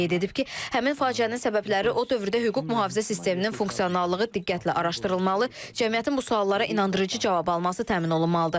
O qeyd edib ki, həmin faciənin səbəbləri o dövrdə hüquq mühafizə sisteminin funksionallığı diqqətlə araşdırılmalı, cəmiyyətin bu suallara inandırıcı cavab alması təmin olunmalıdır.